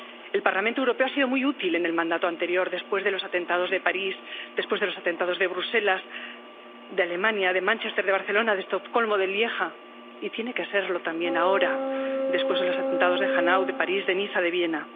El Parlamento Europeo ha sido muy útil en el mandato anterior después de los atentados de París, después de los atentados de Bruselas, de Alemania, de Manchester, de Barcelona, de Estocolmo, de Lieja, y tiene que serlo también ahora, después de los atentados de Hanau, de París, de Niza, de Viena.